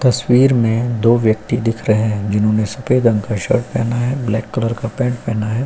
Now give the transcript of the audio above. तस्वीर में दो व्यक्ति दिख रहे हैं जिन्होंने सफेद रंग का शर्ट पहना है ब्लैक कलर का पैंट पहना है।